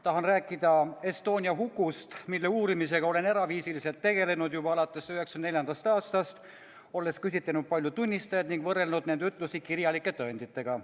Tahan rääkida Estonia hukust, mille uurimisega olen eraviisiliselt tegelenud juba alates 1994. aastast, olen küsitlenud paljusid tunnistajaid ning võrrelnud nende ütlusi kirjalike tõenditega.